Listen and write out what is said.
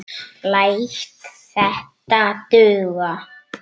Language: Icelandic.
Læt þetta duga.